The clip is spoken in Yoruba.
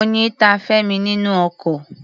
Oyin ta Femi nínú oko.